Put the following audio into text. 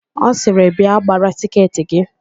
Ọ sịrị, "bịa gbara tiketị gị"1